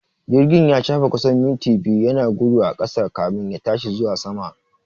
Jirgin ya shafe kusan minti biyu yana gudu a ƙasa kamin ya tashi zuwa sama